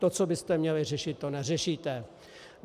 To, co byste měli řešit, to neřešíte.